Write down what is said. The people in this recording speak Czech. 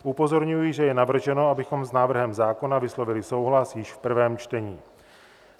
Upozorňuji, že je navrženo, abychom s návrhem zákona vyslovili souhlas již v prvém čtení.